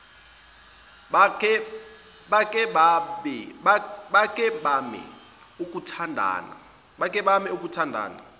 bake bame ukuthandana